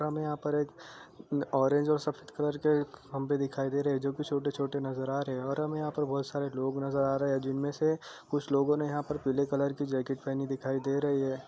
हमें यहाँ पर एक ओरेंज और सफ़ेद कलर के खंबे दिखाई दे रहे हैं जो छोटे-छोटे नजर आ रहे हैं और हमें यहाँ पर बोहोत सारे लोग नजर आ रहे हैं जिनमे से कुछ लोगो ने यहाँ पर पीले कलर की जैकेट पहनी दिखाई दे रही है।